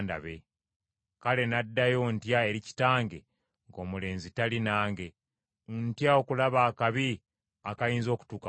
Kale n’addayo ntya eri kitange ng’omulenzi tali nange? Ntya okulaba akabi akayinza okutuuka ku kitange.”